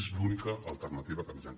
és l’única alternativa que tindran